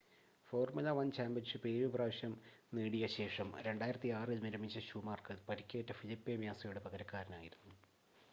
formula 1 championship 7 പ്രാവശ്യം നേടിയ ശേഷം 2006 ൽ വിരമിച്ച ഷൂമാക്കർ പരിക്കേറ്റ ഫെലിപ്പെ മ്യാസയുടെ പകരക്കാരൻ ആയിരുന്നു